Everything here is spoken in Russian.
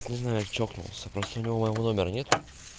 не знаю чокнулся просто у него моего номера нет